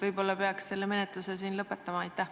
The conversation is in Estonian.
Võib-olla peaks selle menetluse siin lõpetama?